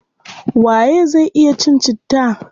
Waye zai iya cin citta?